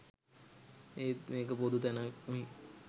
ඒත් මේක පොදු තැනක්නෙ.